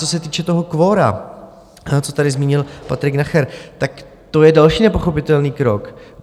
Co se týče toho kvora, co tady zmínil Patrik Nacher, tak to je další nepochopitelný krok.